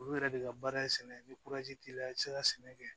Olu yɛrɛ de ka baara ye sɛnɛ ni t'i la i ti se ka sɛnɛ kɛ